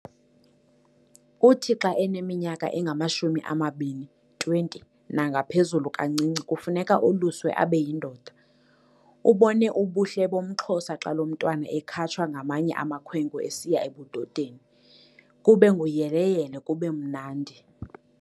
Uthi xa eneminyaka engamashumi ababini, 20, nangaphezulu kancinci kufuneke oluswe abe yindoda. Ubone ubuhle bomXhosa xa lo mntwana ekhatshwa ngamanye amakhwenkwe esiya ebudodeni, kube nguyele-yele kubemnandi.